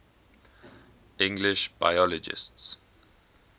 english biologists